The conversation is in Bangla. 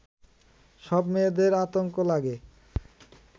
সব মেয়েদের আতঙ্ক লাগে